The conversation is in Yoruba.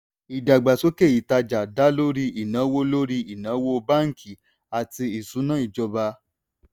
ìdàgbàsókè ìtajà dá lórí ìnáwó lórí ìnáwó báńkì àti ìṣúnná ìjọba.